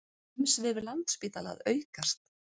Umsvif Landspítala að aukast